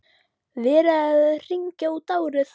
Verið að hringja út árið.